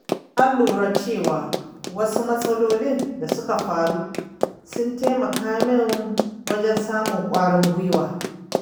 Na lura cewa wasu matsaloli da suka faru sun taimaka min wajen samun ƙwarin gwuiwa